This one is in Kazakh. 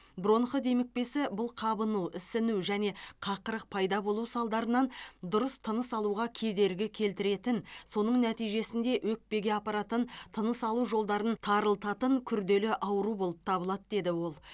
бронх демікпесі бұл қабыну ісіну және қақырық пайда болу салдарынан дұрыс тыныс алуға кедергі келтіретін соның нәтижесінде өкпеге апаратын тыныс алу жолдарын тарылтатын күрделі ауру болып табылады деді ол